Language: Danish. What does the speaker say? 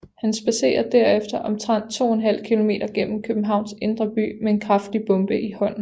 Han spadserer derefter omtrent to en halv kilometer gennem Københavns indre by med en kraftig bombe i hånden